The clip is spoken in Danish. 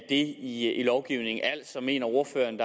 i lovgivningen altså mener ordføreren